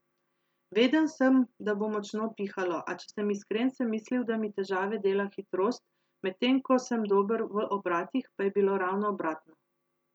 Vedel sem, da bo močno pihalo, a če sem iskren, sem mislil, da mi težave dela hitrost, medtem ko sem dober v obratih, pa je bilo ravno obratno.